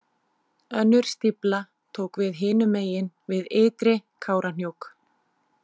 Önnur stífla tók við hinum megin við Ytri- Kárahnjúk.